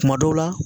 Kuma dɔw la